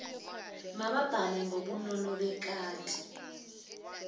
mababhale ngobunono bekati